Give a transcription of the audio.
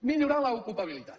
millorar l’ocupabilitat